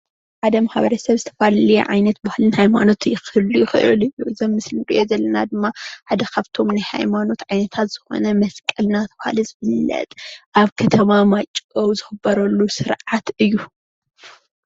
ሓደ ማሕበረሰብ ዝተፈላለዩ ዓይነት ባህልን ሃይማኖትን ክህሉ ይኽእል እዩ። እዚ ምስሊ እንሪኦ ዘለና ድማ ሓደ ኻፍቶም ናይ ሃይማኖት ዓይነታት ዝኾነ መስቀል እናተብሃለ ዝፍለጥ ኣብ ከተማ ማይጨው ዝኽበረሉ ሰርዓት እዩ።